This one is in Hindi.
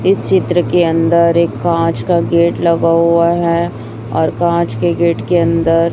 इस चित्र के अंदर एक कांच का गेट लगा हुआ है और कांच के गेट के अंदर--